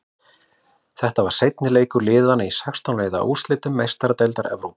Þetta var seinni leikur liðana í sextán liða úrslitum Meistaradeildar Evrópu.